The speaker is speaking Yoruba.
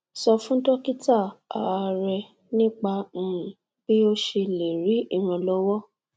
sọ fún dókítà um rẹ nípa um bí o ṣe lè rí ìrànlọwọ